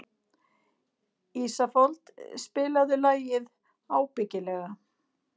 Ísafold, spilaðu lagið „Ábyggilega“.